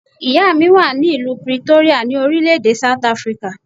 Ìyá mi wà ní ìlú Pretoria, ní orílẹ̀ èdè South Africa.